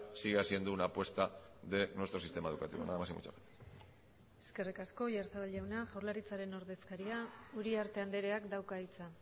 siga siendo una apuesta de nuestro sistema educativo nada más y muchas gracias eskerrik asko oyarzabal jauna jaurlaritzaren ordezkaria uriarte andreak dauka hitza